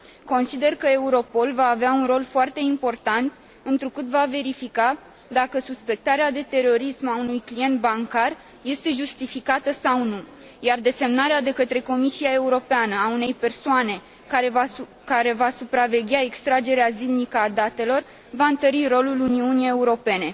Consider că Europol va avea un rol foarte important, întrucât va verifica dacă suspectarea de terorism a unui client bancar este justificată sau nu, iar desemnarea de către Comisia Europeană a unei persoane care va supraveghea extragerea zilnică a datelor, va întări rolul Uniunii Europene.